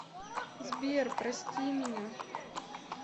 сбер прости меня